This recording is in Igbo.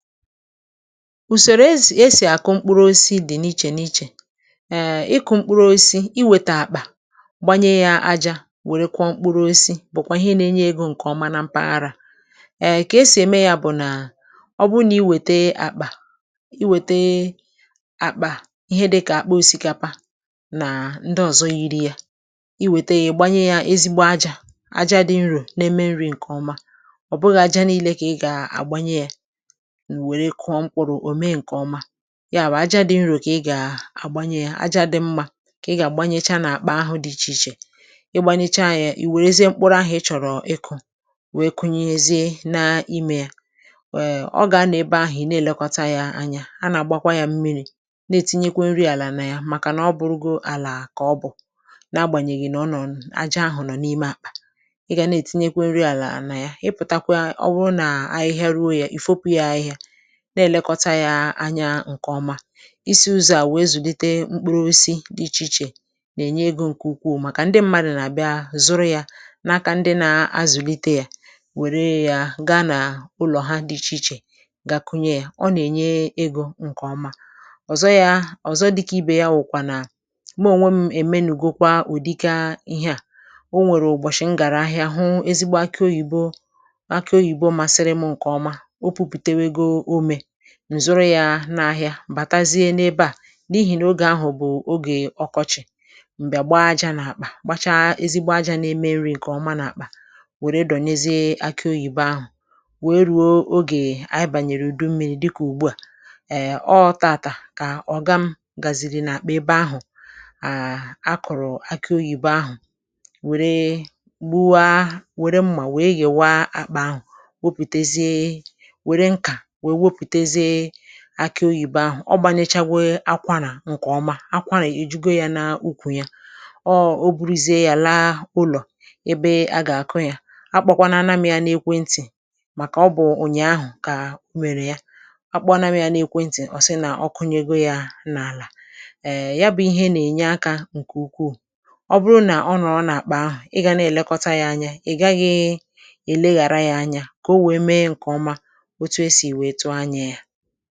Úsèrè èsì èsì àkụ mkpụrụ̀ osisi dị n’ìchè n’ìchè. Ịkụ́ mkpụrụ̀ osisi, ị wètà àkpà, gbanye ya ajá, wèrè kpụ̀ọ mkpụrụ̀. Mkpụrụ̀ osisi bụ́kwa ihe na-enye égo nke ọma na mpaghara. Kà èsì ème ya bụ̀ nà ọ bụrụ na i wètà àkpà, i wètà àkpà ihe dịkà àkpọ̀ osikapa na ndị ọzọ yiri ya, i wètà ya, gbanye ya, ejígbò ajá — ajá dị nro n’eme nri nke ọma. Ọ bụghị̇ ajá niile ka ị gà-àgbanye ya. (ehm)Wèrè kụọ mkpụrụ̀. Ọ̀méjì nke ọma ya bụ̀ ajá dị nro ka ị gà-àgbanye ya; ajá dị mma ka ị gà-àgbanyecha n’àkpà ahụ dị iche iche. Ị gbanyecha ya, ì wèrèzie mkpụrụ̀ ahụ ị chọ̀rọ̀ ịkụ́, wéé kụnyezie n’ímé ya. Wèe ọ gà-ana ebe ahụ, ị na-èlekọta ya anya, a nà-àgbakwa ya mmiri, na-ètinyekwa nri àlà na ya. Màkànà ọ bụrụgó àlà ka ọ bụ̀ na-agbànyèghì nà ọ nọ̀ n’ájá ahụ nọ̀ n’ímé àkpà, ị gà na-ètinyekwo nri àlà na ya. Ị pụ̀takwa, ọ̀ bụrụ nà ahịhịa rùo ya, ì fópù ya ahịhịa, na-èlekọta ya anya. Ǹkè ọma isi ụzọ̀ a wéé zùlite mkpụrụ̀ osisi dị iche iche nà-ènye égo nke ukwu maka ndị mmadụ nà-àbịa zụrụ ya n’aka ndị na-azùlite ya, wèrè ya gaa n’ụlọ̀ ha. Dị iche iche gakwụnye ya, ọ nà-ènye égo nke ọma. Ọ̀zọkwa dịkà ìbè ya, mụ̀ nwekwara nà mèmènụ. Ọ bụ̀ ụ̀bọ̀chị̀ m gàrà ahịa hụ̀ ezigbo àkì oyìbò. um Àkì oyìbò masịrị mụ́ nke ọma, n’zòrò ya n’ahịa. Bàtazie n’ebe à, n’ihi n’ógè ahụ bụ̀ ogè ọkọ́chị̀. M̀bịà gbàá ajá n’àkpà, kpacha ezigbo ajá n’eme nri nke ọma n’àkpà, wèrè dọ̀nyezị àkì oyìbò ahụ, wéé ruo ogè. Anyị bànyèrè ụ́dùmmírí, dịkà ùgbú a, ee! Óó, tààtà ka ọ̀ gà gaziri. Nà àkpà ebe ahụ à kọ̀rọ̀ àkì oyìbò ahụ, wèrè gbúàa, wèrè mmà, wéé yèwa àkpà ahụ, wòpùtèzìe, wèrè nkà, ọ̀ gbànyáchàgwe. Àkwànà nke ọma, àkwànà ejìgò ya n’úkwù ya. Ọ, ọ̀bụ̀rụ́zìe ya, làà ụlọ̀ ebe a gà-àkụ ya. Àkpàkwanu anàm jà n’èkwé ntì, màkà ọ bụ̀ onye rèrè ahụ kà ó mèrè ya. hmm Àkpàkwanu anàm jà n’èkwé ntì. Ọ̀ sị nà ọ kụnyègo ya n’álà. Èè, ya bụ̀ ihe nà-ènye àkà nke ukwu. Ọ bụrụ nà ọ nọ̀ n’àkpà ahụ, ị gà na-èlekọta ya anya. Ị̀ gaghị̇ èleghàra ya anya, kà ò wéé mee nke ọma.